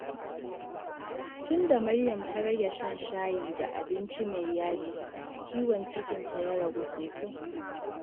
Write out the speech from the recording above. Tun da Maryam ta rage shan shayi da abinci mai yaji, ciwon cikinta ya ragu sosai.